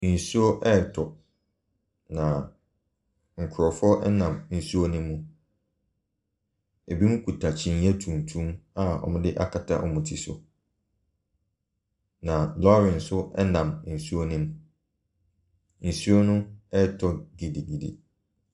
Nsuo retɔ na nkorɔfoɔ ɛnam nsuo no mu. Ebinom kuta kyiniiɛ tuntum a wɔde akata wɔn ti so. Na lɔri nso ɛnam nsuo no mu. Nsuo no ɛɛtɔ gidigidi.